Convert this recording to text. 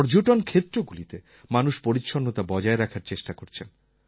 পর্যটন ক্ষেত্রগুলিতে মানুষ পরিচ্ছন্নতা বজায় রাখার চেষ্টা করছেন